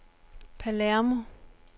Palermo